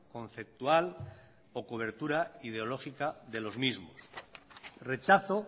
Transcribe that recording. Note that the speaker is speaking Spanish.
conceptual o cobertura ideológica de los mismos rechazo